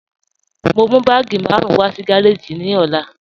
Mo n mú bàágí márùn wà sí gàràjì ní òlà.